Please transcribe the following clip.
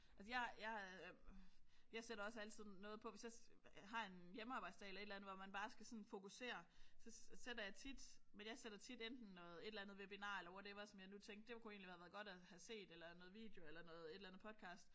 Altså jeg jeg jeg sætter også altid noget på. Hvis jeg har en hjemmearbejdsdag eller et eller andet hvor man bare skal sådan fokusere så sætter jeg tit men jeg sætter tit enten noget webinar eller whatever som jeg nu tænkte det kunne have været godt at have set eller noget video eller noget et eller andet podcast